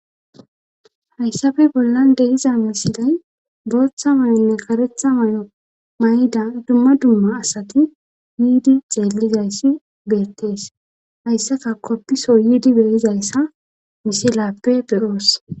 haysape bollan de7iza misilen bootta mayonne karetta mayida dumma dumma asati yiidi xeellizayssi beettes;haysaka kopiso yiidi be7izayssa misilape be7oos.